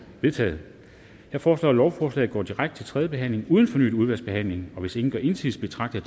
vedtaget jeg foreslår at lovforslaget går direkte til tredje behandling uden fornyet udvalgsbehandling hvis ingen gør indsigelse betragter